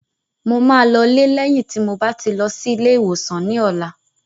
Mo máa lọ lé lẹ́yìn tí mo bá ti lọ sí ilé ìwòsàn ní ọ̀la